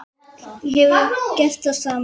Þú hefðir gert það sama.